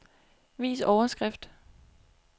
Vis overskrift.